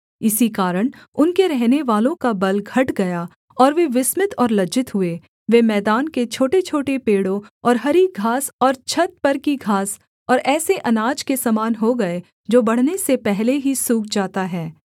इसी कारण उनके रहनेवालों का बल घट गया और वे विस्मित और लज्जित हुए वे मैदान के छोटेछोटे पेड़ों और हरी घास और छत पर की घास और ऐसे अनाज के समान हो गए जो बढ़ने से पहले ही सूख जाता है